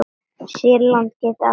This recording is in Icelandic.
Sýrland getur átt við